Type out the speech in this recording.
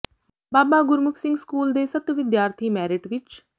ਬਾਬਾ Gurmukh Singh school ਦੇ ਸੱਤ ਵਿਦਿਆਰਥੀ ਮੈਰਿਟ ਵਿੱਚ